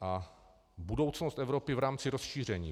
A budoucnost Evropy v rámci rozšíření.